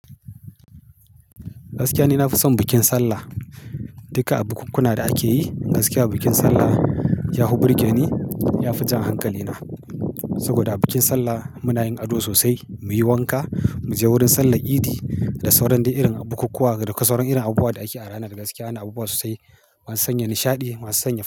Gaskiya ni na fi son bikin sallah. Duka a bukunkuna da ake yi gaskiya bikin sallah ya hu birge ni, ya fi jan hankalina. Saboda a bikin sallah muna yin ado sosai, muyi wanka, mu je wurin sallar idi da sauran d irin bukukkuwa da sauran abubuwa da ake a ranar. Gaskiya ana abubuwa sosai masu sanya nishaɗi, masu sanya.